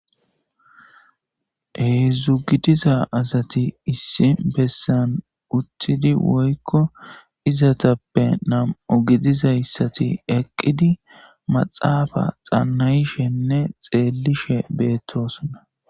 Hezdzdu gidiza asati issi besani uttidi woyikko izetappe namu gidizayisati eqidi maaxafa xanaishshenne xeelishe betosona